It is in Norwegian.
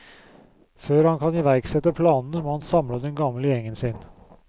Før han kan iverksette planene må han samle den gamle gjengen sin.